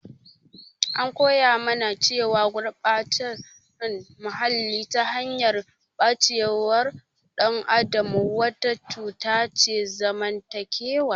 An koya mana cewa gurɓacewar muhalli, ta hanyar ɓacewar ɗan adam wata cuta ce ta zamantakewa.